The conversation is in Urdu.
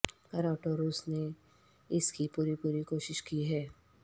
کراوٹوروس نے اس کی پوری پوری کوشش کی ہے